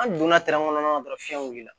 An donna kɔnɔ dɔrɔn fiɲɛ wulila